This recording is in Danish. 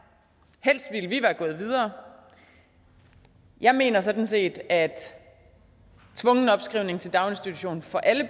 helst ville vi være gået videre jeg mener sådan set at tvungen opskrivning til daginstitution for alle